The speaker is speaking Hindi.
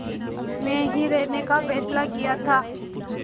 में ही रहने का फ़ैसला किया था